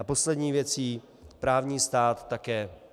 A poslední věcí - právní stát také.